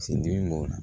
Sin dili m'o la